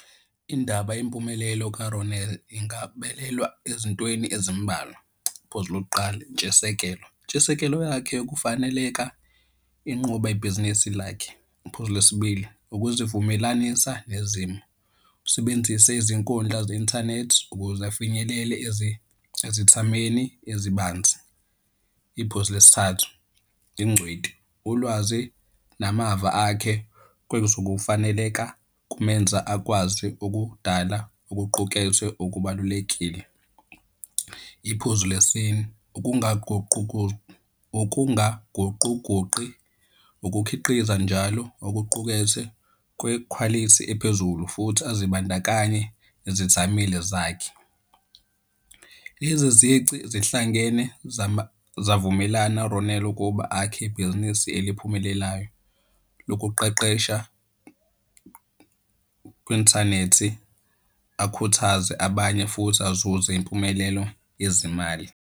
Indaba yempumelelo ka-Ronel ingabelelwa ezintweni ezimbalwa. Iphozu lokuqala, intshisekelo. Intshisekelo yakhe kufaneleka inquba ibhizinisi lakhe. Iphuzu lesi bili, ukuzivumelanisa nezimo, usebenzise izinkundla ze-inthanethi ukuze afinyelele ezithameni ezibanzi. Iphuzu lesi thathu, ingcweti, ulwazi namava akhe kwenza ukufaneleka, kumenza akwazi ukudala okuqukethwe okubalulekile. Iphuzu le sine, ukungaguquguqi, ukukhiqiza njalo okuqukethwe kwekhwalithi ephezulu futhi azibandakanye nezithameli zakhe. Lezi zici zihlangene zavumelana u-Ronel ukuba akhe ibhizinisi eliphumelelayo lokuqeqesha kwi-inthanethi akhuthaze abanye futhi azuze impumelelo yezimali.